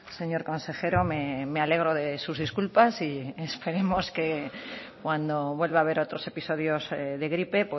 señor consejero me alegro de sus disculpas y esperemos que cuando vuelva haber otros episodios de gripe